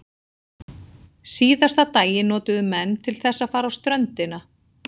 Síðasta daginn notuðu menn til þess að fara á ströndina.